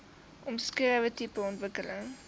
omskrewe tipe ontwikkeling